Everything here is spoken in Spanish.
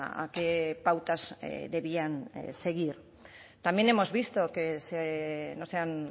a qué pautas debían seguir también hemos visto que no se han